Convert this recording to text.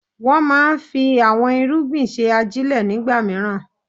Wọ́n máa ń fi àwon irúgbìn ṣe ajílẹ̀ ní ìgbàmìíràn.